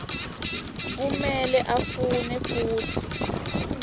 kumele afune futsi